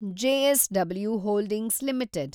JSW holdings limited